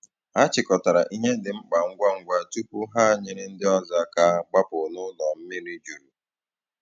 Hà chịkọtarà ihe dị mkpa ngwa ngwa tupu ha nyere ndị ọzọ aka gbapụ̀ n’ụlọ mmiri jurù.